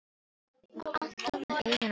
Hún var alltaf með augun á Lúlla.